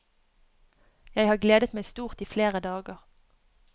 Jeg har gledet meg stort i flere dager.